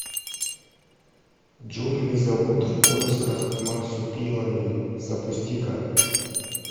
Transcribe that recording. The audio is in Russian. джунгли зовут в поисках марсупилами запусти ка